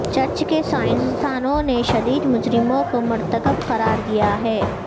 church کے سائنسدانوں نے شدید مجرموں کو مرتکب قرار دیا ہے